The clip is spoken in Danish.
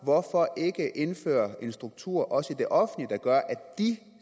hvorfor ikke indføre en struktur også i det offentlige der gør at de